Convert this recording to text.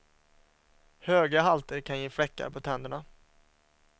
Höga halter kan ge fläckar på tänderna.